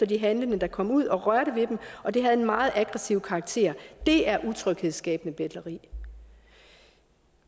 de handlende der kom ud og rørte ved dem og det havde en meget aggressiv karakter det er utryghedsskabende betleri